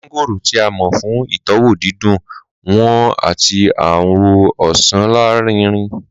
Mángóòrò, ti a mọ fun itọwo didùn wọn ati awọ osan larinrin